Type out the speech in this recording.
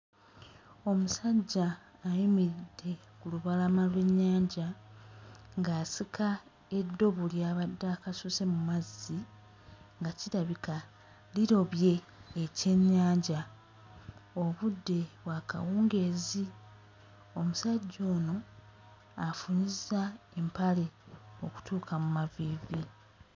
Omusajja ayimiridde ku lubalama lw'ennyanja ng'asika eddobo ly'abadde akasuse mu mazzi nga kirabika lirobye ekyennyanja. Obudde bwa kawungeezi. Omusajja ono afunyizza empale okutuuka mu maviivi.